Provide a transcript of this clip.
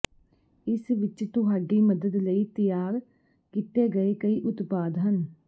ਇਸ ਵਿਚ ਤੁਹਾਡੀ ਮਦਦ ਲਈ ਤਿਆਰ ਕੀਤੇ ਗਏ ਕਈ ਉਤਪਾਦ ਹਨ